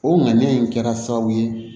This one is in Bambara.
O ŋaniya in kɛra sababu ye